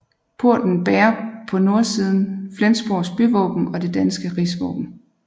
Porten bærer på nordsiden Flensborgs byvåben og det danske rigsvåben